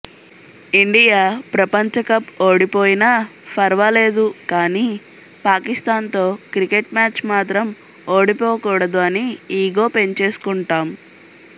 India ప్రపంచకప్ ఓడిపోయిన ఫర్వాలేదు కాని పాకిస్తాన్ తో క్రికేట్ మ్యాచ్ మాత్రం ఓడిపోకూడదు అని ఈగో పెంచేసుకుంటాం